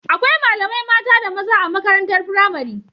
Akwai malamai mata da maza a makarantar pramari